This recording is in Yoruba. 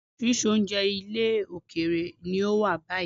Oríṣiríṣi oúnjẹ ilẹ̀ òkèèrè ni ó wà báyìí.